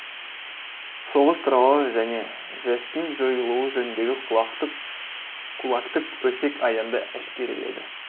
соғыс туралы және жэс тің жойылуы жөніндегі кулактық өсек аяңды әшкереледі